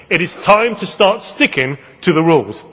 It is time to start sticking to the rules.